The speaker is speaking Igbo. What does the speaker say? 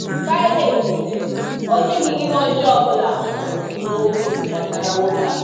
Pilat sịrị, “Ọ dịghị ihe ọjọọ ọ bụla m hụrụ n’okwu gbasara nwoke a.”